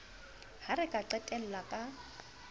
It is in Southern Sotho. ha re ka qhella ka